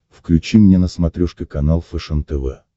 включи мне на смотрешке канал фэшен тв